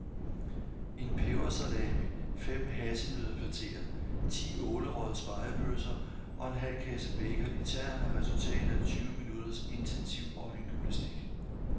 En pebersalami, fem hasselnøddepateer, ti ålerøgede spegepølser og en halv kasse bacon i tern er resultatet af tyve minutters intensiv øjengymnastik.